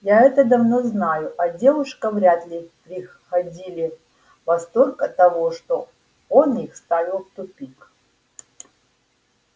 я это давно знаю а девушка вряд ли приходили в восторг от того что он их ставил в тупик